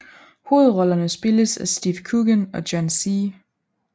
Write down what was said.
Hovedrollerne spilles af Steve Coogan og John C